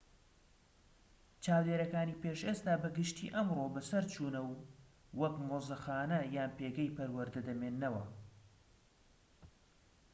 چاودێریەکانی پێش ئێستا بە گشتی ئەمڕۆ بەسەرچوونە و وەک مۆزەخانە یان پێگەی پەروەردە دەمێننەوە